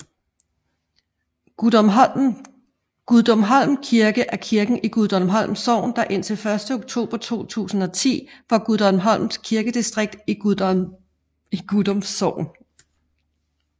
Gudumholm Kirke er kirken i Gudumholm Sogn der indtil 1 oktober 2010 var Gudumholm Kirkedistrikt i Gudum Sogn